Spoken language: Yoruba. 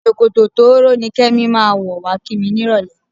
Ṣòkòtò tóóró ni Kẹ́mi máa wọ̀ wá kí mi nírọ̀lẹ́.